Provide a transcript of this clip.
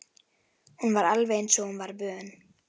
Hún var alveg eins og hún var vön.